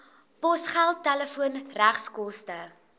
posgeld telefoon regskoste